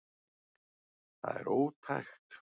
Það er ótækt